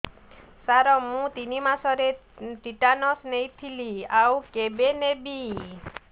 ସାର ମୁ ତିନି ମାସରେ ଟିଟାନସ ନେଇଥିଲି ଆଉ କେବେ ନେବି